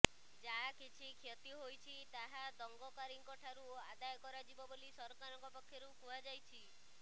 ଯାହା କିଛି କ୍ଷତି ହୋଇଛି ତାହା ଦଙ୍ଗକାରୀଙ୍କଠାରୁ ଆଦାୟ କରାଯିବ ବୋଲି ସରକାରଙ୍କ ପକ୍ଷରୁ କୁହାଯାଇଛି